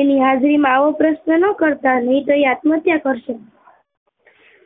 એની હાજરી માં આવો પ્રશ્ન નાં કરતા નહિ તો એ આત્મહત્યા કરશે